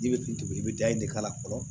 Ji bɛ tunu i bɛ da e de k'a la fɔlɔ